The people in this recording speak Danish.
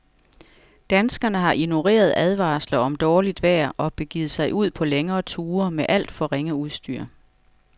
Danskerne har ignoreret advarsler om dårligt vejr og begivet sig ud på længere ture med alt for ringe udstyr.